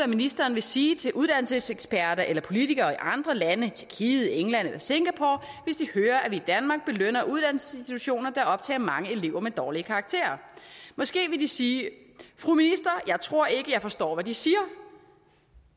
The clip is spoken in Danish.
ministeren vil sige til uddannelseseksperter eller politikere i andre lande tjekkiet england eller singapore hvis de hører at vi i danmark belønner uddannelsesinstitutioner der optager mange elever med dårlige karakterer måske vil de sige fru minister jeg tror ikke jeg forstår hvad de siger